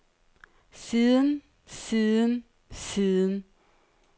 siden siden siden